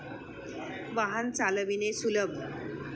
वाहन चालविणे सुलभ.